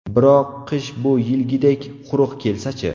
Biroq, qish bu yilgidek quruq kelsa-chi?